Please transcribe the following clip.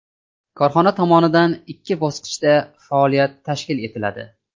Korxona tomonidan ikki bosqichda faoliyat tashkil etiladi.